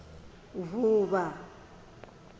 vuvha